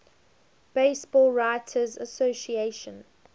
baseball writers association